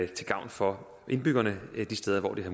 til gavn for indbyggerne de steder hvor de har